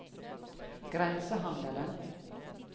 grensehandelen